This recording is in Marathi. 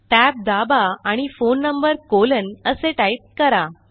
tab दाबा आणि फोन नंबर कॉलन असे टाईप करा